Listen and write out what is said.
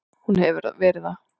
Hún hefur verið það.